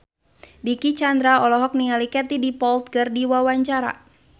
Dicky Chandra olohok ningali Katie Dippold keur diwawancara